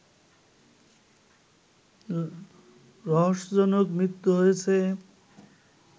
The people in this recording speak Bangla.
রহস্যজনক মৃত্যু হয়েছে